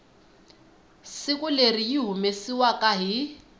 siku leri yi humesiwaku hi